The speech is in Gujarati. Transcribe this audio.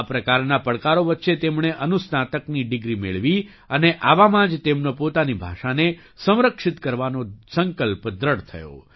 આ પ્રકારના પડકારો વચ્ચે તેમણે અનુસ્નાતકની ડિગ્રી મેળવી અને આવામાં જ તેમનો પોતાની ભાષાને સંરક્ષિત કરવાનો સંકલ્પ દૃઢ થયો